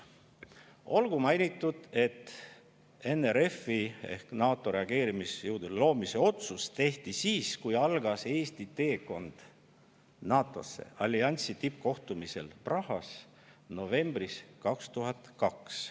Olgu mainitud, et NRF-i ehk NATO reageerimisjõudude loomise otsus tehti siis, kui algas Eesti teekond NATO-sse, alliansi tippkohtumisel Prahas novembris 2002.